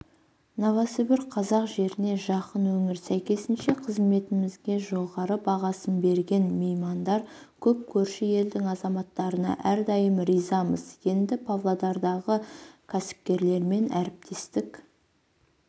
новосібір қазақ жеріне жақын өңір сәйкесінше қызметімізге жоғары бағасын берген меймандар көп көрші елдің азаматтарына әрдайым ризамыз енді павлодардағы кәсіпкерлермен әріптестік